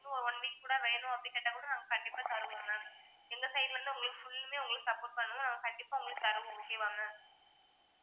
இன்னும் one week கூட வேணும் அப்படி கேட்டா கூட நாங்க கண்டிப்பா தருவோம் ma'am எங்க side ல இருந்து உங்களுக்கு full லுமே உங்களுக்கு support பண்ணுவோம் நாங்க கண்டிப்பா உங்களுக்கு தருவோம் okay வா ma'am